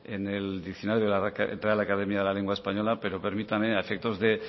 en el diccionario de la real academia de la lengua española pero permítame a efectos de